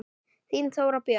Þín Þóra Björk.